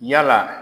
Yala